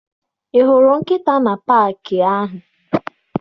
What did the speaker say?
Ị hụrụ nkịta na paakị ahụ?